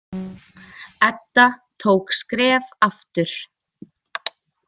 Edda tók skref aftur.